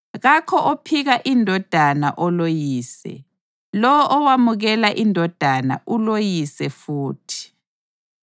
Kakho ophika iNdodana oloYise; lowo owamukela iNdodana uloYise futhi.